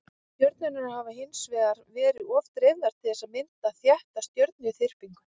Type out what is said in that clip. stjörnurnar hafa hins vegar verið of dreifðar til þess að mynda þétta stjörnuþyrpingu